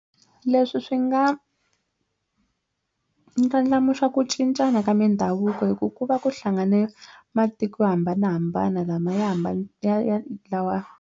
Leswi swi nga ndlandlamuxa ku cincana ka mindhavuko hi ku ku va ku hlanganisa matiko yo hambanahambana lama ya .